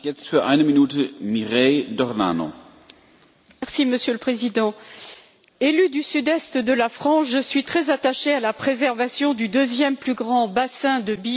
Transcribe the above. Monsieur le Président, élue du sud est de la France, je suis très attachée à la préservation du deuxième plus grand bassin de biodiversité en Europe que constitue la région alpine.